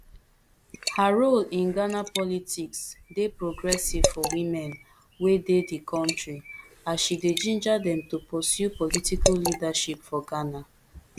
her role in ghana politics dey progressive for women wey dey di kontri as she dey ginger dem to pursue political leadership for ghana